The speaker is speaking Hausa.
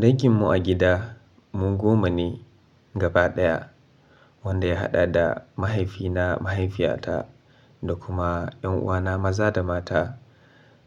Danginmu a gida mu goma ne gaba ɗaya, wanda ya haɗa da mahaifina, mahaifiyata da kuma ƴan'uwana maza da mata.